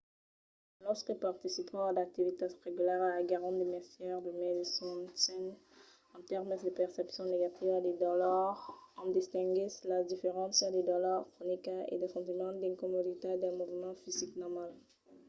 los que participan a d’activitats regularas aguèron de mestièr de mai de sosten en tèrmes de percepcion negativa de dolor en distinguissent las diferéncias de dolor cronica e de sentiment d'incomoditat del movement fisic normal